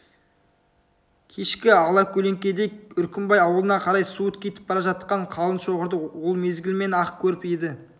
кешкі алакөлеңкеде үркімбай аулына қарай суыт кетіп бара жатқан қалың шоғырды ол мезгілмен-ақ көріп еді